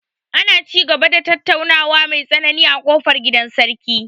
Ana ci gaba da tattaunawa mai tsanani a ƙofar gidan sarki.